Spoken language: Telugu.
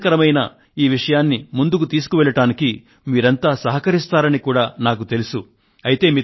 ప్రయోజనకరమైన ఈ విషయాన్ని ముందుకు తీసుకువెళ్ళడానికి మీరంతా సహకరిస్తారని కూడా నాకు ఎరుకే